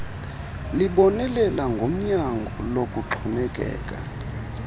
libonelela ngonyango lokuxhomekeka